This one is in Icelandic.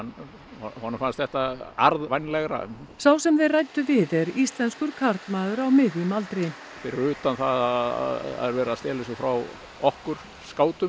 honum fannst þetta arðvænlegra sá sem þeir ræddu við er íslenskur karlmaður á miðjum aldri fyrir utan það að það er verið að stela þessu frá okkur